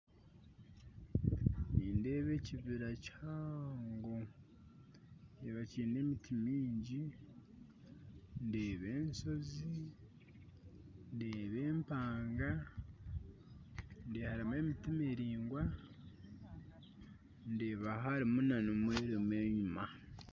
Nindeeba ekibira kihango kibira kine emiti miingi ndeeba enshozi ndeeba empanga ndeeba harimu emiti miringwa ndeeba harimu na nomwirima enyuma